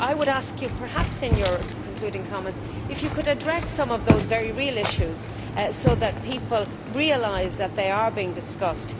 I would ask you if, in your concluding comments, you could address some of those very real issues, so that people realise that they are being discussed.